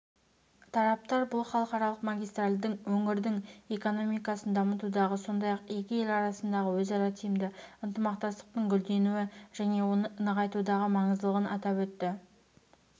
тараптар бұл халықаралық магистральдің өңірдің экономикасын дамытудағы сондай-ақ екі ел арасындағы өзара тиімді ынтымақтастықтың гүлденуі және оны нығайтудағы маңыздылығын атап өтті